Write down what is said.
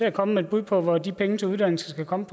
at komme med et bud på hvor de penge til uddannelse skal komme